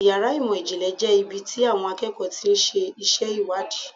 Yàrá ìmọ̀ ìjìnlẹ̀ jẹ́ ibi tí àwọn akẹ́kọ̀ọ́ ti ń ṣe iṣẹ́ ìwádìí.